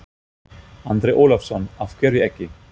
Andri Ólafsson: Af hverju ekki?